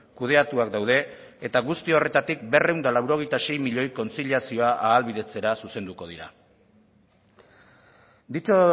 kudeatuak daude eta guzti horretatik berrehun eta laurogeita sei milioi kontziliazioa ahalbidetzera zuzenduko dira dicho